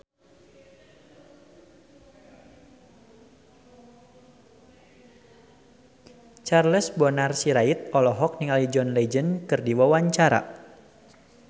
Charles Bonar Sirait olohok ningali John Legend keur diwawancara